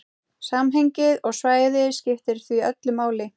Samhengið og svæðið skiptir því öllu máli.